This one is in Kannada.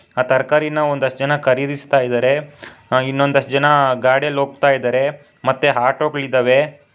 ಆ ತರಕಾರಿನ ಒಂದಿಷ್ಟು ಜನ ಖರೀದಿಸುತ್ತಿದ್ದಾರೆ ಇನ್ನೊಂದಷ್ಟು ಜನ ಗಾಡಿಯಲ್ಲಿ ಹೋಗ್ತಿದ್ದಾರೆ ಮತ್ತು ಆಟೋಗಳಿದ್ದಾವೆ.